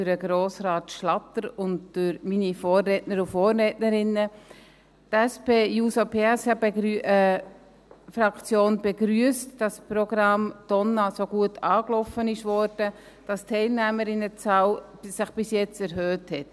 Die SP-JUSO-PSA-Fraktion begrüsst, dass das Programm «Donna» so gut angelaufen ist, dass die Teilnehmerinnenzahl sich bis jetzt erhöht hat.